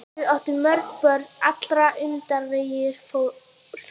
Þau áttu mörg börn, allt öndvegisfólk.